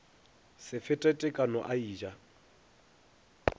se fete tekano a eja